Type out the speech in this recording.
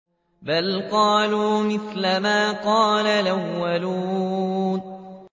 بَلْ قَالُوا مِثْلَ مَا قَالَ الْأَوَّلُونَ